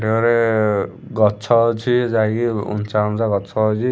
ରେ ଗଛ ଅଛି ଯାଇକି ଉଞ୍ଚା ଉଞ୍ଚା ଗଛ ଅଛି ।